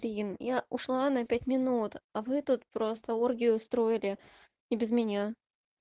я ушла на пять минут а вы тут просто оргию устроили и без меня